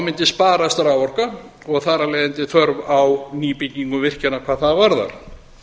mundi sparast raforka og þar af leiðandi þörf á nýbygginga virkjana hvað það varðar